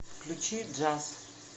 включи джаз